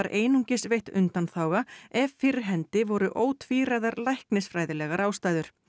einungis veitt undanþága ef fyrir hendi voru ótvíræðar læknisfræðilegar ástæður